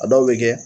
A dɔw bɛ kɛ